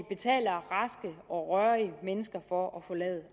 betaler raske og rørige mennesker for at forlade